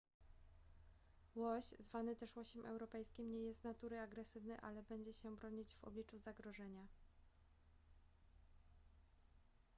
łoś zwany też łosiem europejskim nie jest z natury agresywny ale będzie się bronić w obliczu zagrożenia